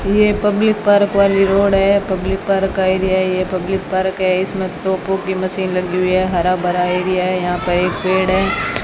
ये public park वाली road है पब्लिक पार्क का एरिया है ये पब्लिक पार्क है इसमें तोपों की मशीन लगी हुई है हर-भरा एरिया है यहां पे एक पेड़ है।